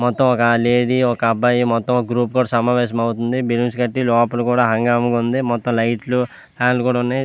మొత్తం ఒక లేడీ ఒక అబ్బాయి మొతం ఒక గ్రూప్ సమావేశం ఐతుంది. లోపల కూడా హంగామా ఉంది. మొతం లైట్లు ఫ్యాన్ లు కూడా ఉన్నాయ్.